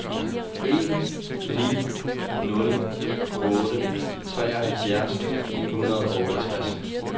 en ni nul otte treoghalvfjerds ni hundrede og otteogtres